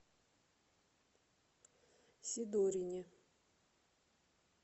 сидорине